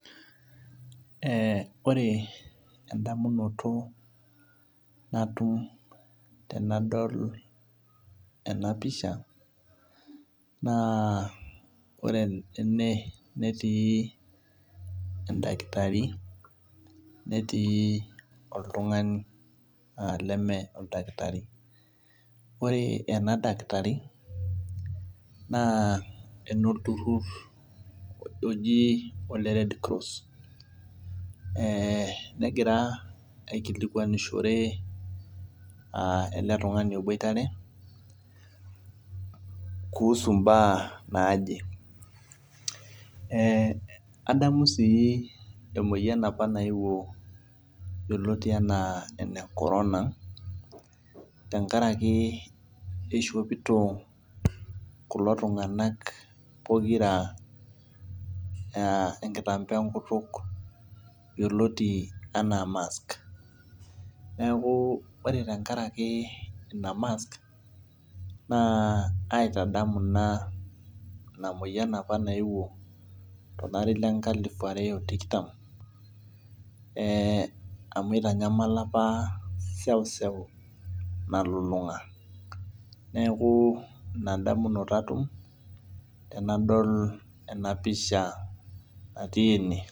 Ore endamunoto natum tenadol ena pisha , naa ore ene netii endakitari, netii oltung'ani naa Mee oldakitari. Ore ena daktari naa enolturur oji ene Red Cross . Negira aikilikwanishore ele tung'ani obwoitare, kuhusu imbaa naaje. Adamu sii emoyian opa naewuo yioloti anaa ene Corona tenkaraki neishopito kulo tung'ana pokira enekibaa enkutuk yioloti anaa mask. Neaku ore tenkaraki Ina mask naitadamu naa ina moyian opa naewuo tolari opa le nkalifu are o tikitam amu eitanyamala opa eseuseu nalulung'a. Neaku Ina damunoto atum tenadol ena pisha natii ene.